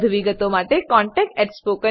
વધુ વિગતો માટે કૃપા કરી contactspoken tutorialorg પર લખો